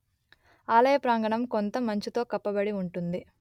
ఆలయ ప్రాంగణం కొంత మంచుతో కప్పబడి ఉంటుంది